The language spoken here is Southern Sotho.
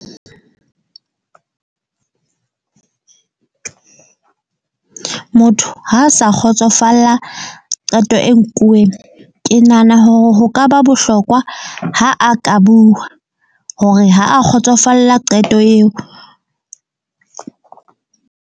Motho ha a sa kgotsofala qeto e nkuweng. Ke nahana hore ho ka ba bohlokwa ha a ka bua hore ha a kgotsofalla qeto eo.